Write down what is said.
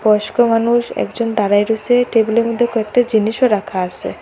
বয়স্ক মানুষ একজন দাঁড়ায়ে রয়সে টেবিলের মদ্যে কয়েকটা জিনিসও রাখা আসে।